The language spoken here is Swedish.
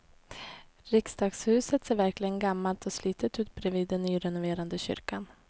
Riksdagshuset ser verkligen gammalt och slitet ut bredvid den nyrenoverade kyrkan.